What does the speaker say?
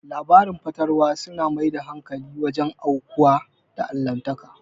Labarin fatalwa su na mai da hankali wajen aukuwa na Allahntaka